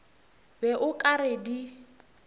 be o ka re di